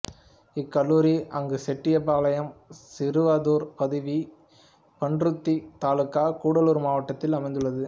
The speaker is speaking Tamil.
இக்கல்லூரி அங்குசெட்டிபாலையம் சிறுவதூர் பதவி பன்ருதி தாலுகா கூடலூர் மாவட்டத்தில் அமைந்துள்ளது